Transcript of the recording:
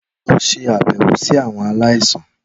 Lọ ṣabẹwo si awọn alaisan!